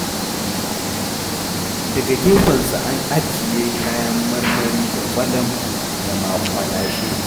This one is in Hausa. Daga gefensu an ajiye kayan marmari da ƙwalam da maƙwalashe.